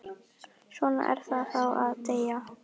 Svona er það þá að deyja.